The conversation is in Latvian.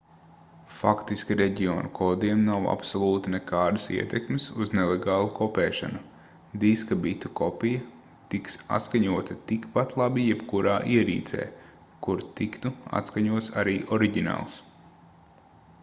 faktiski reģionu kodiem nav absolūti nekādas ietekmes uz nelegālu kopēšanu diska bitu kopija tiks atskaņota tikpat labi jebkurā ierīcē kur tiktu atskaņots arī oriģināls